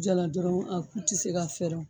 Jala dɔrɔn a ku te se ka fɛrɛ o